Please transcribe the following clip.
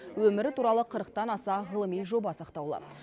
өмірі туралы қырықтан аса ғылыми жоба сақтаулы